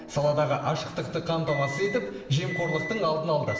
саладағы ашықтықты қамтамасыз етіп жемқорлықтың алдын алды